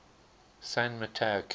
san mateo county